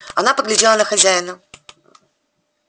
она поглядела на хозяина